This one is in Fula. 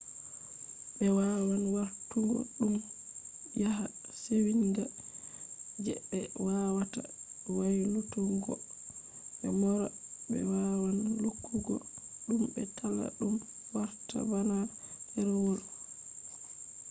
ɓe wawan warturgo ɗum waya sewinga je be wawata waylutuggo ɓe mora. ɓe wawan lukkugo ɗum be talla ɗum warta bana ɗerewol